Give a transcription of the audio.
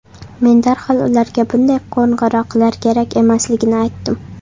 Men darhol ularga bunday qo‘ng‘iroqlar kerak emasligini aytdim.